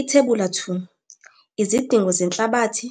Ithebula 2- Izidingo zenhlabathi,